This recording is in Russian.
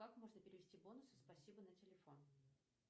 как можно перевести бонусы спасибо на телефон